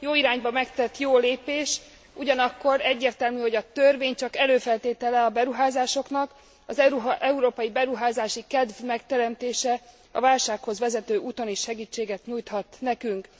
Jó irányba megtett jó lépés, ugyanakkor egyértelmű, hogy a törvény csak előfeltétele a beruházásoknak, az európai beruházási kedv megteremtése a válsághoz vezető úton is segítséget nyújthat nekünk.